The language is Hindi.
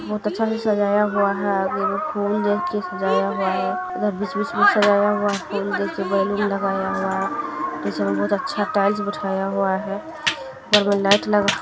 बहुत अच्छा से सजाया हुआ है और एगो फूल से सजाया हुआ है इधर बीच-बीच में सजाया हुआ इधर देखिये बैलून लगाया हुआ है बीच में बहुत अच्छा टाइल्स लगाया हुआ है ऊपर में लाइट लगा हुआ है।